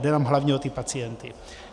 Jde jenom hlavně o ty pacienty.